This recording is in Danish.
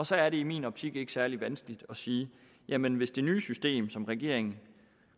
så er det i min optik ikke særlig vanskeligt at sige jamen hvis det nye system som regeringen